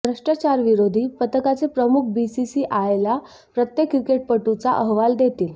भ्रष्टाचारविरोधी पथकाचे प्रमुख बीसीसीआयला प्रत्येक क्रिकेटपटूचा अहवाल देतील